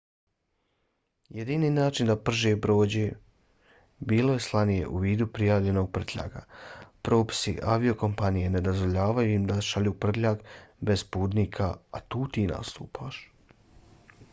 jedini način da prže prođe bilo je slanje u vidu prijavljenog prtljaga. propisi aviokompanije ne dozvoljavaju im da šalju prtljag bez putnika a tu ti nastupaš